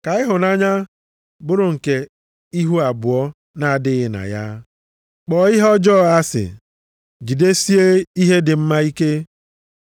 Ka ịhụnanya bụrụ nke ihu abụọ nʼadịghị na ya, kpọọ ihe ọjọọ asị, jidesie ihe dị mma ike.